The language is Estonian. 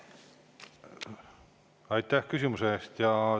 Aitäh küsimuse eest!